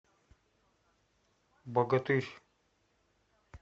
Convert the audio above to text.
богатырь